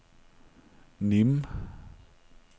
Nîmes